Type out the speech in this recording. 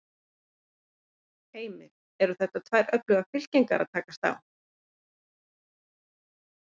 Heimir: Eru þetta tvær öflugar fylkingar að takast á?